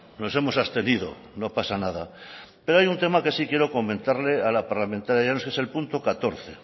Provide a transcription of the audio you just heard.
nos hemos abstenido no pasa nada pero hay un tema que sí quiero comentarle a la parlamentaria llanos es el punto catorce